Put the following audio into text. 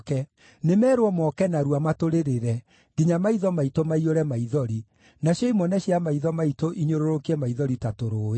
Nĩmeerwo moke narua, matũrĩrĩre nginya maitho maitũ maiyũre maithori, nacio imone cia maitho maitũ inyũrũrũkie maithori ta tũrũũĩ.